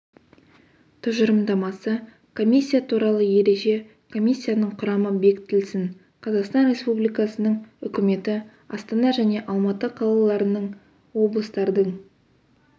тұжырымдамасы комиссия туралы ереже комиссияның құрамы бекітілсін қазақстан республикасының үкіметі астана және алматы қалаларының облыстардың